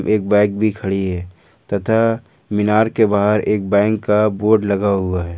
एक बाइक भी खड़ी है तथा मीनार के बाहर एक बैंक का बोर्ड लगा हुआ है।